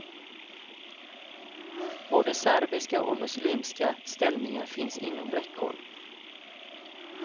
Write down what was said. Både serbiska och muslimska ställningar finns inom räckhåll.